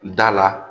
Da la